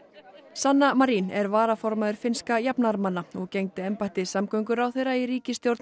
sanna Marin er varaformaður finnskra jafnaðarmanna og gegndi embætti samgönguráðherra í ríkisstjórn